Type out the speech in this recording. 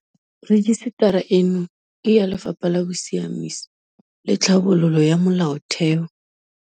Rejisetara eno ke ya Lefapha la Bosiamisi le Tlhabololo ya Molaotheo.